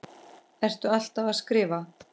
Ertu alltaf að skrifa?